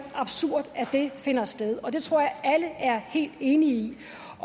absurd at det finder sted og det tror jeg at alle er helt enige i